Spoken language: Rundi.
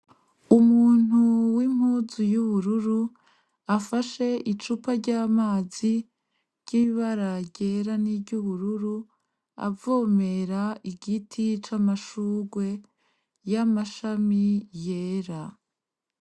Umuntu w'impuzu y'ubururu afashe icupa ry'amazi ry'ibara ryera n'iry'ubururu avomera igiti c’amashurwe y'amashami yera.